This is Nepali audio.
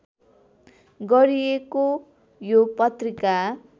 गरिएको यो पत्रिका